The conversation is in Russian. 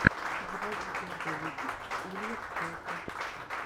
заводи первый выпуск улья пчелки